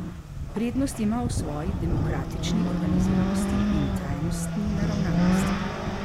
Prednost ima v svoji demokratični organiziranosti in trajnostni naravnanosti.